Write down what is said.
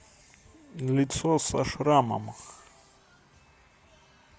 лицо со шрамом